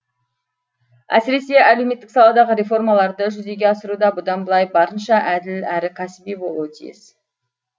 әсіресе әлеуметтік саладағы реформаларды жүзеге асыруда бұдан былай барынша әділ әрі кәсіби болуы тиіс